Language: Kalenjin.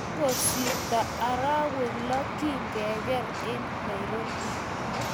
Kingosirto arowek loo kigigeer eng Nairobi